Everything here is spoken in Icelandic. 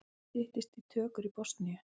Styttist í tökur í Bosníu